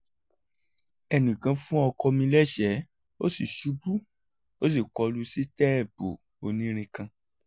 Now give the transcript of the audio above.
ẹnìkan fún ọkọ mi lẹ́ṣẹ̀ẹ́ ó sì ṣubú ó sì kọ lu sítẹ́ẹ̀pù onírin kan